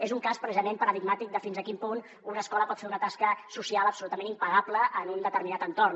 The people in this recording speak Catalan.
és un cas precisament paradigmàtic de fins a quin punt una escola pot fer una tasca social absolutament impagable en un determinat entorn